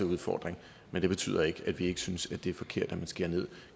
udfordring men det betyder ikke at vi ikke synes at det er forkert at man skærer ned